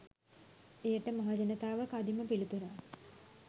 එයට මහජනතාව කදිම පිළිතුරක්